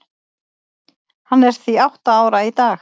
Hann er því átta ára í dag.